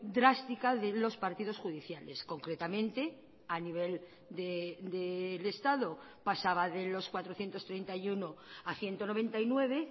drástica de los partidos judiciales concretamente a nivel del estado pasaba de los cuatrocientos treinta y uno a ciento noventa y nueve